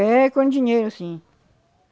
É com dinheiro, sim.